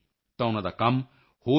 sir ਮੈਂ ਠੀਕ ਹਾਂ ਸਿਰ ਆਈ ਏਐਮ ਫਾਈਨ